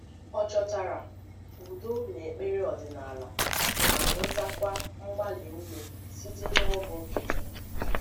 Ọ chọtara udo n’ekpere ọdịnala, ma nwetakwa mgbali ume site n’ọgwụ nkịtị.